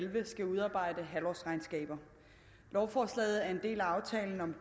elleve skal udarbejde halvårsregnskaber lovforslaget er en del af aftalen om